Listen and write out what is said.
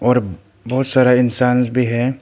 और बहुत सारा इंसान्स भी है।